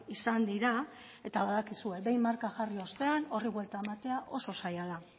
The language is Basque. izan dira eta badakizue behin marka jarri ostean horri buelta ematea oso zaila da